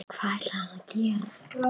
Hvað ætlar hann að gera?